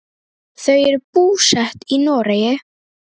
Þau eru búsett í Noregi.